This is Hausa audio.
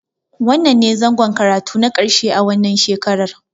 Wannnan ne zangon karatu na ƙarshe a wannan shekarar.